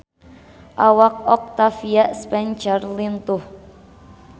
Awak Octavia Spencer lintuh